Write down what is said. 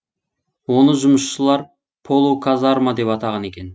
оны жұмысшылар полуказарма деп атаған екен